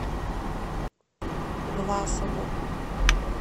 власову